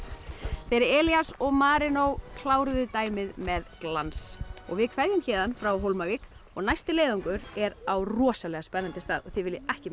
þeir Elías og Marinó kláruðu dæmið með glans við kveðjum héðan frá Hólmavík og næsti leiðangur er á rosalega spennandi stað og þið viljið ekki missa